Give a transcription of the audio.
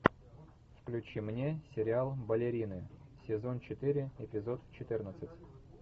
включи мне сериал балерины сезон четыре эпизод четырнадцать